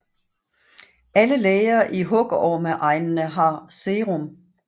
Alle læger i hugormeegnene har serum